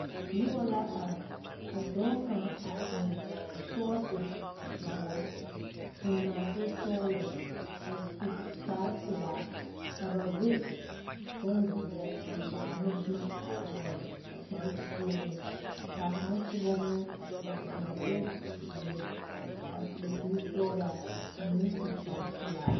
Noba la are ka dɔɔ eŋ sɔɔsi dʋɔ kyɛ eŋ nɔɔtesɔglɔ kyɛ su kparepelaa ka sɛgebiziire mare a puoreŋ. Kaŋ meŋ eŋ la nɔɔteziire a seɛ kpurusɔglaa kyɛ su kparepelaa